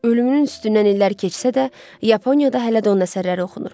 Ölümünün üstündən illər keçsə də, Yaponiyada hələ də onun əsərləri oxunur.